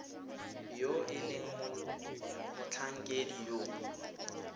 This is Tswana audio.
yo e leng motlhankedi yo